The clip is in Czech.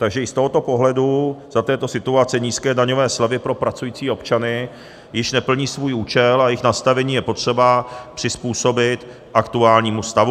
Takže i z tohoto pohledu za této situace nízké daňové slevy pro pracující občany již neplní svůj účel a jejich nastavení je potřeba přizpůsobit aktuálnímu stavu.